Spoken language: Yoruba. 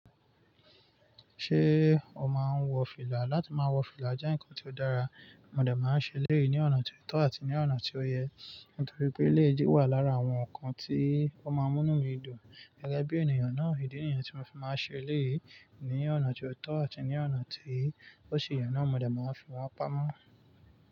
Ṣé o máa ń wọ fìlà? Látí má wọ fìlà jẹ́ ǹkan tí ó dára, mo dà máa ń ṣe e léè ní ọ̀nà tí ó tọ̀ àti ní ọ̀nà tí ó yẹ. Nítorí pé léè jẹ́ wà lára àwọn ǹkan tí ó máa ń mú nu mí dùn. Gẹ́gẹ́ bí ènìyàn náà, èdè nìyàn tí mo fi máa ń ṣe léè ní ọ̀nà tí ó tọ̀ àti ní ọ̀nà tí ó ṣe yàn án, mo dà máa ń fi wá pamọ́.